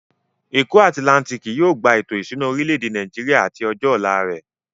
Èkó atilántíkì yóò gba ètò ìṣúná orilẹ̀-èdè Nàìjíríà àti ọjọ́ ọ̀la rẹ̀.